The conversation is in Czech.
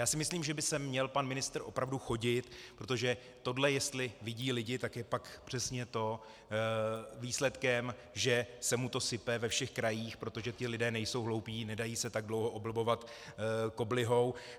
Já si myslím, že by sem měl pan ministr opravdu chodit, protože tohle jestli vidí lidé, tak je pak přesně to výsledkem, že se mu to sype ve všech krajích, protože ti lidé nejsou hloupí, nedají se tak dlouho oblbovat koblihou.